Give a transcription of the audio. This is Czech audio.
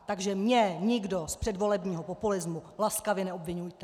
Takže mě nikdo z předvolebního populismu laskavě neobviňujte.